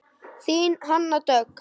Þín Hanna Dögg.